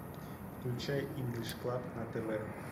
включай инглиш клаб на тв